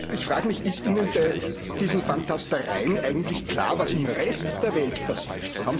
Ich frage mich Ist Ihnen bei diesen Fantastereien eigentlich klar, was im Rest der Welt passiert?